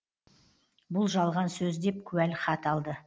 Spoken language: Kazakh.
бұл жалған сөз деп куәлік хат алды